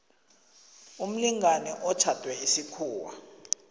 umlingani otjhadwe isikhuwa